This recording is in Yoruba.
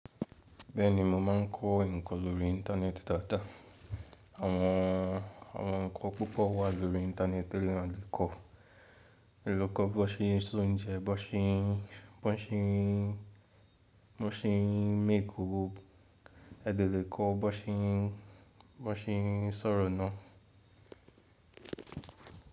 Bẹ́ẹ̀ni mo ma ń kọ́ nǹkan lórí Íńtánẹ́ẹ̀tì dáadáa. Àwọn, àwọn ǹkan púpọ̀ wà lórí Íńtánẹ́ẹ̀tì tí èèyàn kọ́. A le kọ́ bó ṣe ń ṣe oúnjẹ, bó ṣe ń, bó ṣe ń, bó ṣe ń make owó. Ẹ dẹ lè kọ́ bó ṣe ń, bó ṣe ń sọ̀rọ̀ náà.